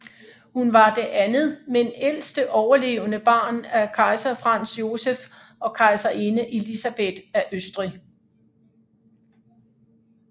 Hun var det andet men ældste overlevende barn af kejser Franz Joseph og kejserinde Elisabeth af Østrig